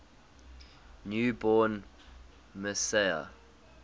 new born messiah